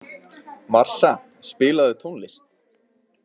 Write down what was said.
Marsa, spilaðu tónlist.